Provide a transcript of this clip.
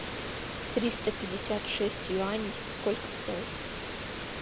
триста пятьдесят шесть юаней сколько стоит